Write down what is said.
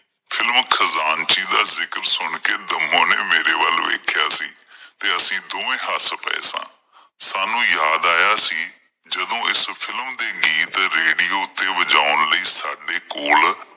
films ਖ਼ਜ਼ਾਨਚੀ ਦਾ ਜ਼ਿਕਰ ਸੁਣ ਕਿ ਦੰਮੂ ਨੇ ਮੇਰੇ ਵੱਲ ਵੇਖਿਆ ਸੀ, ਤੇ ਅਸੀਂ ਦੋਵੇਂ ਹੱਸ ਪਏ ਸਾਂ। ਸਾਨੂੰ ਯਾਦ ਆਇਆ ਸੀ ਜਦੋਂ ਇਸ film ਦੇ ਗੀਤ radio ਤੇ ਵਜਾਉਣ ਲਈ ਸਾਡੇ ਕੋਲ